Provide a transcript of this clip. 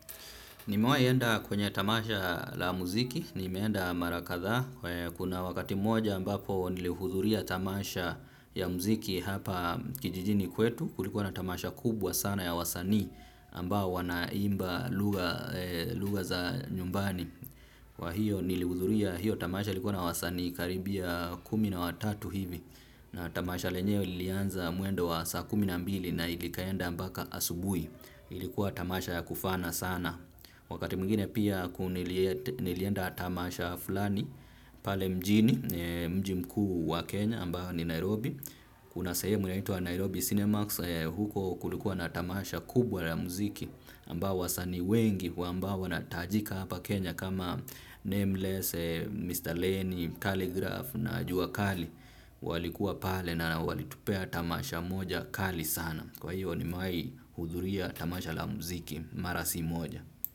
Nimawahi enda kwenye tamasha la muziki nimeenda mara kadhaa kuna wakati moja ambapo nilihudhuria tamasha ya muziki hapa kijijini kwetu kulikuwa na tamasha kubwa sana ya wasanii ambao wanaimba lugha za nyumbani. Kwa hiyo nilihudhuria hiyo tamasha ilikuwa na wasanii karibia kumi na watatu hivi. Na tamasha lenyewe lilianza mwendo wa saa kumi na mbili na ikaenda mpaka asubuhi. Ilikuwa tamasha ya kufana sana. Wakati mwingine pia nilienda tamasha fulani pale mjini mji mkuu wa Kenya ambayo ni Nairobi. Kuna sahemu ambayo inaitwa Nairobi Cinema huko kulikuwa na tamasha kubwa la muziki ambayo wasanii wengi ambao wanatajika hapa Kenya kama Nameless Leni, kalligraph na Jua Kali walikuwa pale na walitupea tamasha moja kali sana kwa hiyo nime wahi hudhuria tamasha la muziki mara si moja.